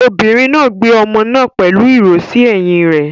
Obìnrin náà gbé ọmọ náà pẹ̀lú ìró sí ẹ̀yìn rẹ̀.